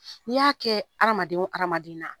N'i y'a kɛ hadamaden o hadamaden na